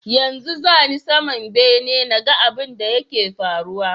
Yanzu zani saman bene naga abun da yake faruwa